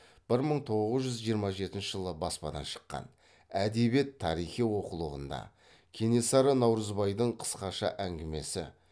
бір мың тоғыз жүз жиырма жетінші жылы баспадан шыққан әдебиет тарихи оқулығында кенесары наурызбайдың қысқаша әңгімесі